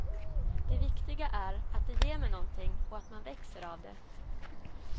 Det viktiga är att det ger mig någonting och att man växer av det.